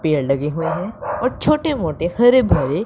पेड़ लगे हुए है और छोटे मोटे हरे भरे --